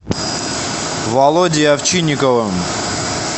володей овчинниковым